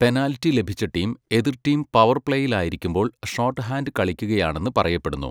Penalty ലഭിച്ച team, എതിർ team പവർപ്ലേയിലായിരിക്കുമ്പോൾ ഷോർട്ട് ഹാൻഡ് കളിക്കുകയാണെന്ന് പറയപ്പെടുന്നു.